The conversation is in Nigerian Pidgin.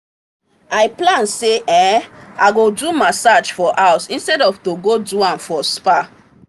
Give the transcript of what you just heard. i plan say um i go do massage for house instead of to go do am for spa.